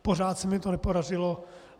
Pořád se mi to nepodařilo.